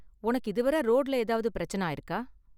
உனக்கு இதுவரை ரோடுல ஏதாவது பிரச்சனை ஆயிருக்கா?